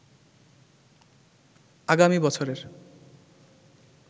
আগামী বছরের